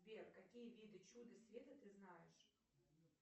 сбер какие виды чуда света ты знаешь